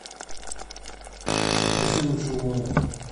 попроси лучше у мамы